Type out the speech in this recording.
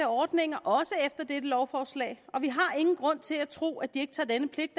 ordninger også efter dette lovforslag og vi har ingen grund til at tro at de ikke tager denne pligt